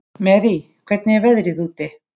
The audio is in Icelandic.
Marie, hvernig er veðrið úti?